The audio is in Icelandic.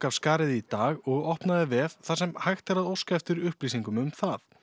af skarið í dag og opnaði vef þar sem hægt er að óska eftir upplýsingum um það